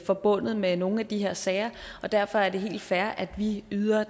forbundet med nogle af de her sager og derfor er det helt fair at vi yder